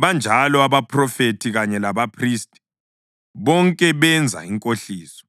banjalo abaphrofethi kanye labaphristi, bonke benza inkohliso.